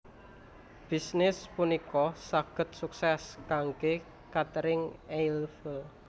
Bisnis punika saged suksès kanggé Caterine Eiffel